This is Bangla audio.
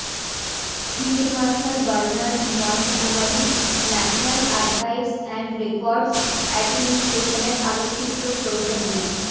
field marshal Bernard Montgomery national archives and records এ্যাডমিনিস্ট্রেশনের আলোকচিত্র সৌজন্যে